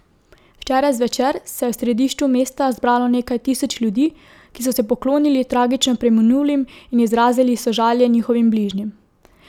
Včeraj zvečer se je v središču mesta zbralo nekaj tisoč ljudi, ki so se poklonili tragično preminulim in izrazili sožalje njihovim bližnjim.